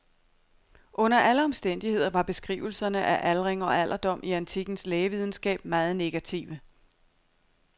Under alle omstændigheder var beskrivelserne af aldring og alderdom i antikkens lægevidenskab meget negative.